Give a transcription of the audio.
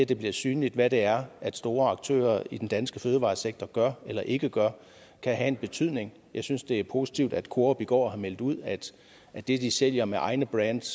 det bliver synligt hvad det er store aktører i den danske fødevaresektor gør eller ikke gør kan have en betydning jeg synes det er positivt at coop i går har meldt ud at det de sælger med egne brands